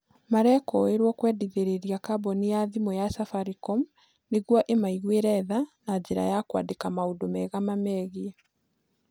Merekũĩrwo kwendithĩrĩria kambuni ya thimũ ya Safaricom nĩguo ĩmaiguĩre tha na njĩra ya kwandĩka maũndũ mega mamegiĩ